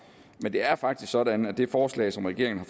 men det er faktisk sådan at det forslag som regeringen har